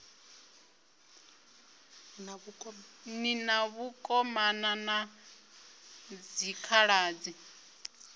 ni na vhakomana na dzikhaladzi